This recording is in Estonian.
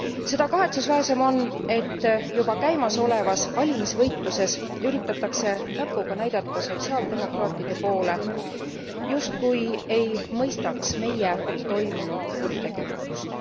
Seda kahetsusväärsem on, et juba käimasolevas valimisvõitluses üritatakse näpuga näidata sotsiaaldemokraatide poole, justkui ei mõistaks meie toimunu kuritegelikkust.